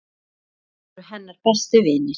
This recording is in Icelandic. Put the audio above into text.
Þau voru hennar bestu vinir.